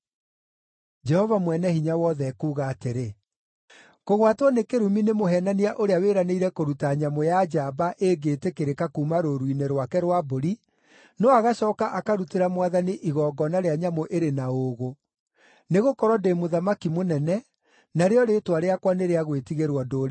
Jehova Mwene-Hinya-Wothe ekuuga atĩrĩ, “Kũgwatwo nĩ kĩrumi nĩ mũheenania ũrĩa wĩranĩire kũruta nyamũ ya njamba ĩngĩĩtĩkĩrĩka kuuma rũũru-inĩ rwake rwa mbũri, no agacooka akarutĩra Mwathani igongona rĩa nyamũ ĩrĩ na ũũgũ. Nĩgũkorwo ndĩ Mũthamaki mũnene, narĩo rĩĩtwa rĩakwa nĩ rĩa gwĩtigĩrwo ndũrĩrĩ-inĩ.